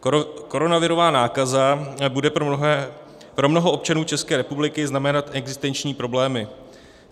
Koronavirová nákaza bude pro mnoho občanů České republiky znamenat existenční problémy.